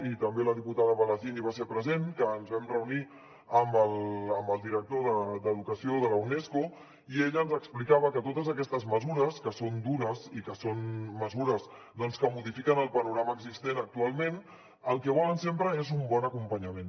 i també la diputada palacín hi va ser present que ens vam reunir amb el director d’educació de la unesco i ell ens explicava que totes aquestes mesures que són dures i que són mesures que modifiquen el panorama existent actualment el que volen sempre és un bon acompanyament